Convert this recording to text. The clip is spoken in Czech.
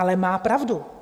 Ale má pravdu.